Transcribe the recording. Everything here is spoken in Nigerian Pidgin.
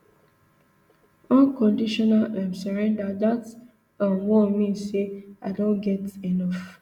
unconditional um surrender dat um one mean say i don get enof